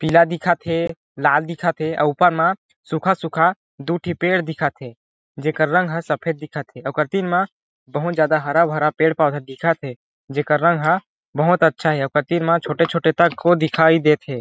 पीला दिखत थे लाल दिखत थे अउ ऊपर मा सूखा - सूखा दू ठी पेड़ दिखत हे जेकर रंग ह सफेद दिखत हे ओकर तीर मा बहुत ज्यादा हरा - भरा पेड़ पौधा दिखत हे जी कर रंग ह बहुत अच्छा हे ओकर तीर मा छोटे छोटे तक को दिखाई देत हे ।